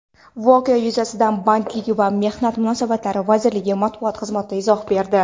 Voqea yuzasidan Bandlik va mehnat munosabatlari vazirligi matbuot xizmati izoh berdi.